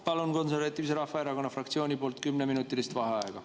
Palun Konservatiivse Rahvaerakonna fraktsiooni nimel kümneminutilist vaheaega.